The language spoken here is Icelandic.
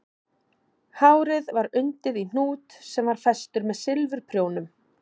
Hárið var undið í hnút sem var festur með silfurprjónum